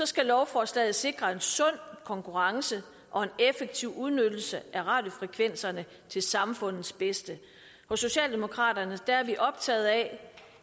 skal lovforslaget sikre en sund konkurrence og en effektiv udnyttelse af radiofrekvenserne til samfundets bedste hos socialdemokraterne er vi optaget af